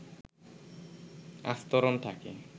আস্তরণ থাকে